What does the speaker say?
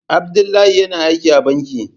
Abdullahi yana aiki a banki.